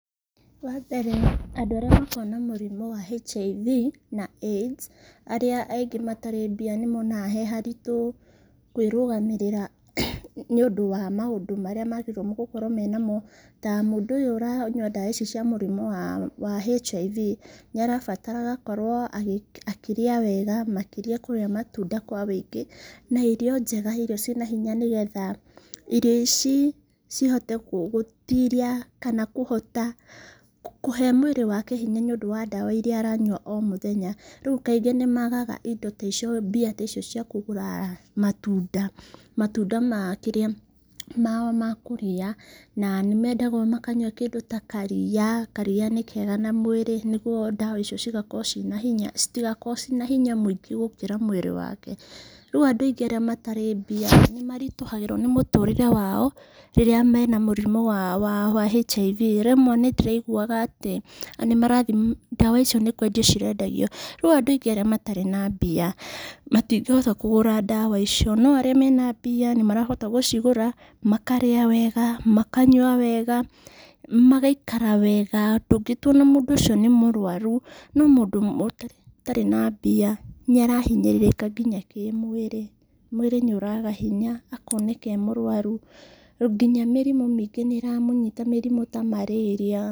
Wa mbere andũ arĩa makoragwo na mũrimũ wa HIV na AIDS, arĩa aingĩ matarĩ mbia nĩ monaga he haritũ kwĩ rũgamĩrĩra, nĩ ũndũ wa maũndũ marĩa magĩrĩirwo nĩ gũkorwo menamo, ta mũndũ ũyũ ũranyua ndawa ici cia mũrimũ wa wa HIV, nĩ arabatara agakorwo agĩ akĩrĩa wega, makĩria kũrĩa matunda kwa wĩingĩ, na irio njega, irio ciĩna hinya nĩgetha irio ici cihote gũtiria, kana kũhota ,kũhe mwĩrĩ wake hinya nĩ ũndũ wa ndawa iria aranywa o mũthenya, rĩu kaingĩ nĩ magaga indo ta icio, mbia taicio cia kũgũra matunda, matũnda ma kĩrĩa, mao ma kũrĩa, na nĩ mendagwo makanyua kĩndũ ta karia, karia nĩ kega na mwĩrĩ, nĩguo ndawa icio cigakoro cĩna hinya, citigakorwo cĩna hinya mwĩingĩ gũkĩra mwĩrĩ wake, rĩu andũ aingĩ matarĩ mbia, nĩ maritũhagĩrwo nĩ mũtũrĩre wao, rĩrĩa mena mũrimũ wa wa HIV, rĩmwe nĩ ndĩraiguwaga atĩ nĩ marathi ndawa icio nĩ kwendio cirendagio, rĩu andũ aingĩ arĩa matarĩ na mbia, matingĩhota kũgũra ndawa icio, no arĩa mena mbia nĩ marahota gũcigũra, makarĩa wega, makanyua wega, magaikara wega, ndũngĩtua ona mũndũ ũcio nĩ mũrwarũ, no mũndũ ũtarĩ na mbia, nĩ arahinyĩrĩrĩka ngina kĩmwĩrĩ, mwĩrĩ nĩ ũraga hinya, akoneka e mũrwaru, rĩu nginya mĩrimũ maingĩ nĩ ĩramũnyhita mĩrimũ ta marĩria.